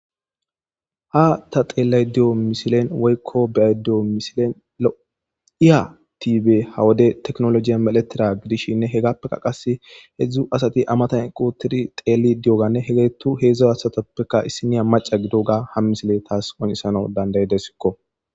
ha ta xeelay diyo misilen weykko be7ay di7o misilen lo7iya tibe hawode teknolojiya meletira gidishshinne hegappeka qas hedzdzu asati amatan qutiri xeeli diyoganne hegeettu heedzdza asatappeka issiniya maca gidoga ha misile taas onisano dandayedesikko